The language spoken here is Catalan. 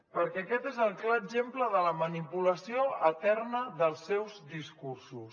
perquè aquest és el clar exemple de la manipulació eterna dels seus discursos